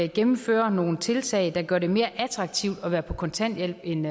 gennemfører nogle tiltag der gør det mere attraktivt at være på kontanthjælp end